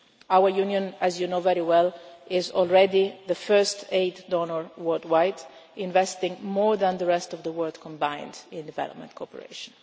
Our Union, as you know very well, is already the biggest aid donor worldwide, investing more than the rest of the world combined in development cooperation.